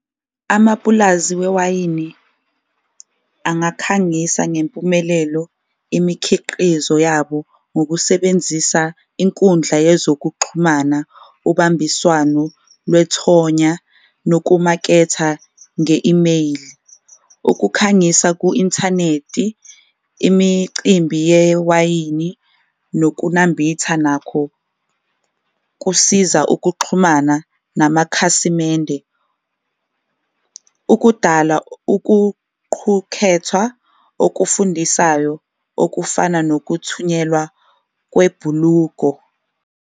Amapulazi wewayini angakhangisa ngempumelelo imikhiqizo yabo ngokusebenzisa inkundla yezokuxhumana, ubambiswano lwethonya nokumaketha nge-imeyili, ukukhangisa ku-inthanethi, imicimbi yewayini, nokunambitha nakho kusiza ukuxhumana namakhasimende. Ukudala ukuqhukhethwa okufundisayo okufana nokuthunyelwa kwebhuluko.